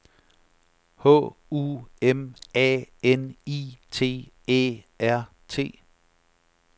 H U M A N I T Æ R T